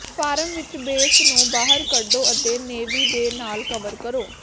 farm ਵਿੱਚ base ਨੂੰ ਬਾਹਰ ਕੱਢੋ ਅਤੇ ਨੇਵੀ ਦੇ ਨਾਲ ਕਵਰ ਕਰੋ